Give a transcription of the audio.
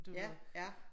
Ja ja